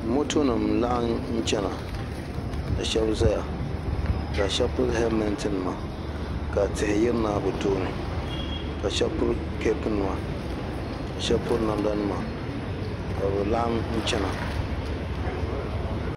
Moto nim n laɣim chana ka shɛba zaya ka shɛba pili helimɛnti nima ka tihi yirina bi tooni ka shɛba pili kapu nima ka shɛba piri namda nima ka bi laɣim chana.